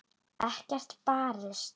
Ekki barist.